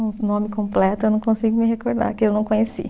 O nome completo eu não consigo me recordar, que eu não conheci.